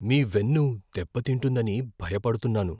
మీ వెన్ను దెబ్బతింటుందని భయపడుతున్నాను.